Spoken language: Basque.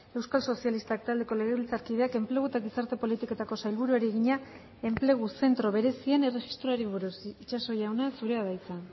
euskal sozialistak taldeko legebiltzarkideak enplegu eta gizarte politiketako sailburuari egina enplegu zentro berezien erregistroari buruz itxaso jauna zurea da hitza